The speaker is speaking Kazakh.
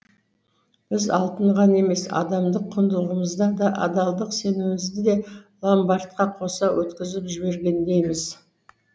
біз алтын ғана емес адамдық құндылығымызды да адалдық сенімімізді де ламбордқа қоса өткізіп жібергендейміз